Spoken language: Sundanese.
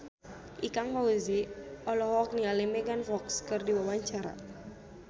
Ikang Fawzi olohok ningali Megan Fox keur diwawancara